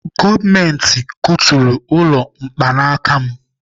Gọọmenti kuturu ụlọ mkpaanaka ya